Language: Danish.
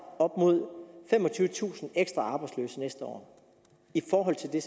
op imod femogtyvetusind ekstra arbejdsløse næste år i forhold til det